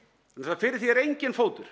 fyrir því er enginn fótur